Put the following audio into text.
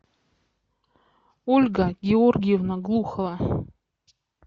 ольга георгиевна глухова